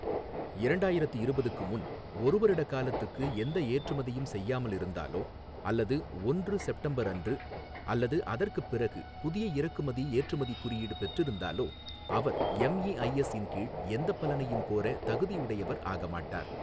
இரண்டாயிரத்து இருபதுக்கு முன் ஒரு வருட காலத்துக்கு எந்த ஏற்றுமதியும் செய்யாமல் இருந்தாலோ அல்லது ஒன்று செப்டம்பர் அன்று அல்லது அதற்கு பிறகு புதியஇறக்குமதி ஏற்றுமதி குறியீடு பெற்றிருந்தாலோ, அவர் எம்இஐஎஸ் இன் கீழ் எந்த பலனையும் கோர தகுதியுடையவர் ஆக மாட்டார்.